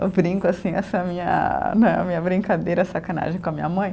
Eu brinco, assim, essa minha né, a minha brincadeira, sacanagem com a minha mãe.